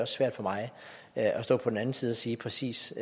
svært for mig at stå på den anden side og sige præcis